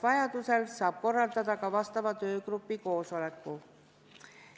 Vajadusel saab korraldada ka vastava töögrupi koosoleku.